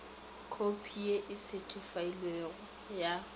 khopi ye e setheifailwego ya